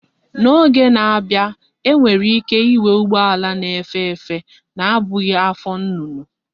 N'oge na-abia abia, anyi nwere ike inwe ugbo ala na efe efe, na abughi afo nnunu